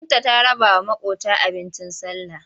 Binta ta rabawa maƙota abincin sallah.